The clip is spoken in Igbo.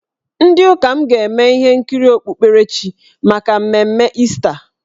Ndị ụka m ga-eme ihe nkiri okpukperechi maka mmemme Ista.